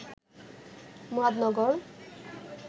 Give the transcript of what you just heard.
Muradnagar